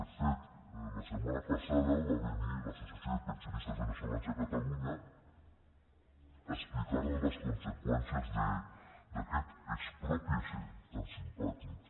de fet la setmana passada va venir l’associació de pensionistes veneçolans de catalunya a explicar nos les conseqüències d’aquest exprópiese tan simpàtic